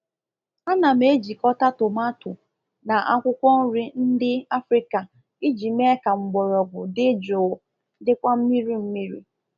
Ana m ejikọta tomato na akwụkwọ nri ndị Africa iji mee ka mgbọrọgwụ dị jụụ dịkwa mmiri mmiri